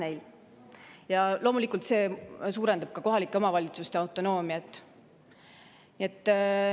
See loomulikult suurendab kohalike omavalitsuste autonoomiat.